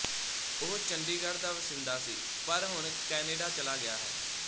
ਉਹ ਚੰਡੀਗੜ੍ਹ ਦਾ ਵਾਸਿੰਦਾ ਸੀ ਪਰ ਹੁਣ ਕੈਨੇਡਾ ਚਲਾ ਗਿਆ ਹੈ